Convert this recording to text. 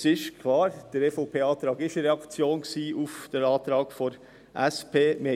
Es ist klar, dass der EVP-Vorschlag eine Reaktion auf den Antrag der SP war.